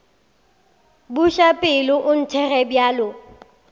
buša pelo o nthekge bjalo